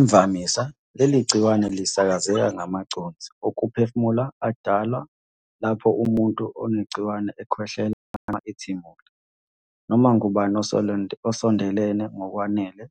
Imvamisa, leli gciwane lisakazeka ngamaconsi okuphefumula adalwa lapho umuntu onegciwane ekhwehlela noma ethimula. Noma ngubani osondelene ngokwanele,